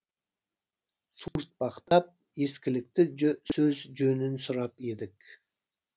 суыртпақтап ескілікті сөз жөнін сұрап едік